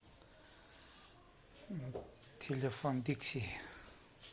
телефон дикси